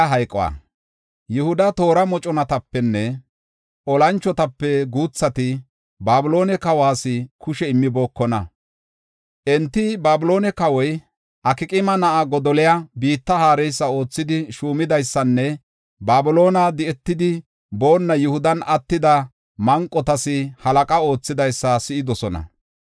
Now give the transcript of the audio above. Yihuda toora moconatapene olanchotape guuthati Babiloone kawas kushe immibookona. Enti Babiloone kawoy, Akqaama na7a Godoliya biitta haareysa oothidi shuumidaysanne Babiloone di7etidi boonna Yihudan attida manqotas halaqa oothidaysa si7idosona.